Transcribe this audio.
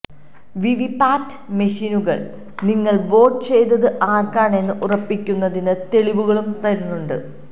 VVPAT മെഷീനുകള് നിങ്ങള് vote ചെയ്തത് ആര്ക്കാണെന്ന് ഉറപ്പിക്കുന്നതിന് തെളിവുകളും തരുന്നുണ്ട്